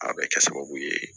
A bɛ kɛ sababu ye